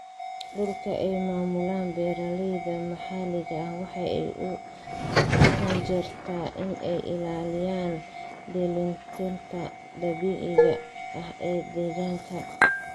Dhulka ay maamulaan beeralayda maxaliga ahi waxa ay u janjeertaa in ay ilaaliyaan dheelitirnaanta dabiiciga ah ee deegaanka.